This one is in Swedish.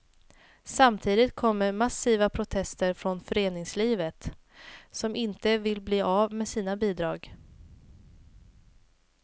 Samtidigt kommer massiva protester från föreningslivet, som inte vill bli av med sina bidrag.